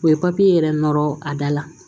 O ye yɛrɛ nɔrɔ a da la